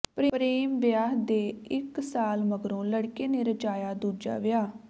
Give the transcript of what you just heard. ਪ੍ਰੇਮ ਵਿਆਹ ਦੇ ਇਕ ਸਾਲ ਮਗਰੋਂ ਲੜਕੇ ਨੇ ਰਚਾਇਆ ਦੂਜਾ ਵਿਆਹ